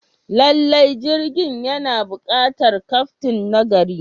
Lallai, jirgin yana buƙatar kyaftin nagari.